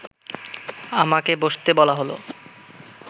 আমাকে বসতে বলা হলো